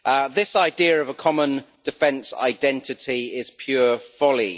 This idea of a common defence identity is pure folly.